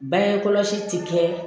Bangekɔlɔsi tɛ kɛ